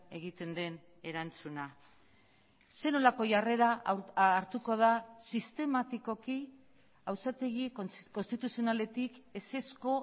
egiten den erantzuna zer nolako jarrera hartuko da sistematikoki auzitegi konstituzionaletik ezezko